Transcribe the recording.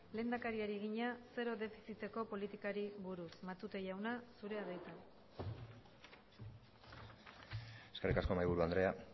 lehendakariari egina zero defiziteko politikari buruz matute jauna zurea da hitza eskerrik asko mahaiburu andrea